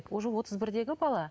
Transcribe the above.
уже отыз бірдегі бала